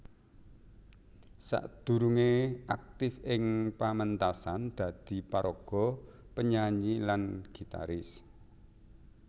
Sakdurungé aktif ing paméntasan dadi paraga penyanyi lan gitaris